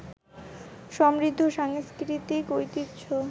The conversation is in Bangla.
সমৃদ্ধ সাংস্কৃতিক ঐতিহ্য